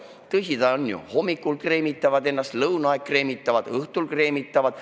Tõsi ta ju on: hommikul kreemitavad ennast, lõunaajal kreemitavad, õhtul kreemitavad.